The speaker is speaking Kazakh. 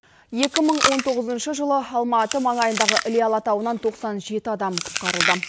екі мың он тоғызыншы жылы алматы маңайындағы іле алатауынан тоқсан жеті адам құтқарылды